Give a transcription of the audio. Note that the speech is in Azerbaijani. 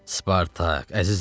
Spartak, əzizim.